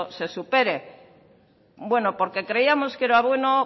se supere bueno porque creíamos que era bueno